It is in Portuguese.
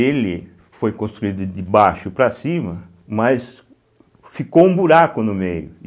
Ele foi construído de baixo para cima, mas ficou um buraco no meio.